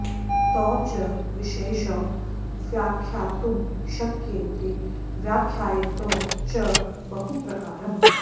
तौ च विशेषौ व्याख्यातुं शक्येते व्याख्यातौ च बहुप्रकारम्